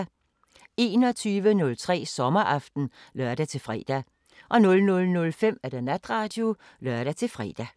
21:03: Sommeraften (lør-fre) 00:05: Natradio (lør-fre)